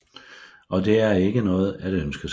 Og det er ikke noget at ønske sig